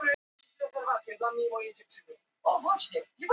heitið var á maríu mey til fiskiheilla og var henni gefinn fyrsti fiskurinn